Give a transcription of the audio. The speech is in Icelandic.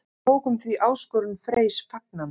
Við tókum því áskorun Freys fagnandi.